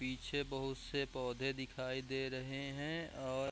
पीछे बहुत से पौधे दिखाई दे रहें हैं और--